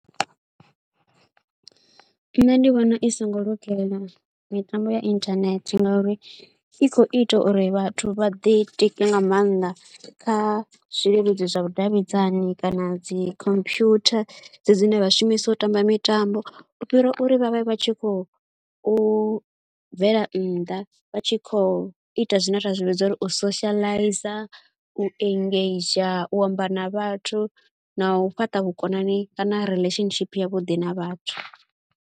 Nṋe ndi vhona i songo lugela mitambo ya inthanethe ngauri i khou ita uri vhathu vha ḓitike nga maanḓa kha zwileludzi zwa vhudavhidzani kana dzi computer dzedzi dzine vha shumisa u tamba mitambo. U fhira uri vha vhe vha tshi khou u bvela nnḓa, vha tshi khou ita zwine ra zwi vhidza uri u socializer, u engager, u amba na vhathu na u fhaṱa vhukonani kana relationship yavhuḓi na vhathu.